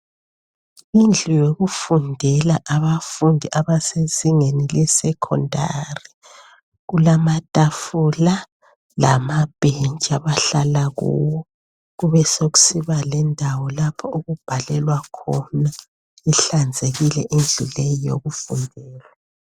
Indlu yokufundela abafundi abasezingeni le secondary. Kulamatafula lama bhentshi abahlala kuwo. Kube sekusiba lendawo lapho okubhalelwa khona. Ihlanzekile indlu le yokufundela.